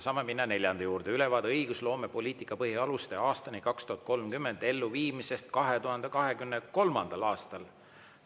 Saame minna neljanda juurde: ülevaade "Õigusloomepoliitika põhialuste aastani 2030" elluviimisest 2023. aastal.